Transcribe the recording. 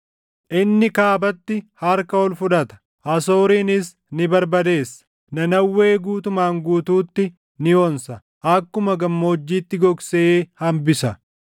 Inni kaabatti harka ol fudhata; Asoorinis ni barbadeessa; Nanawwee guutumaan guutuutti ni onsa; akkuma gammoojjiitti gogsee hambisa.